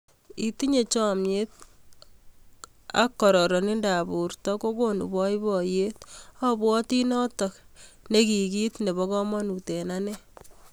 Itinye chamnyet ak kararindoop portoo kokonuu paipaiyet, abwatii notok nekikiit nepoo kamanut eng anee